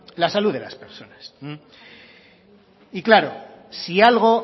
la salud de las personas y claro si algo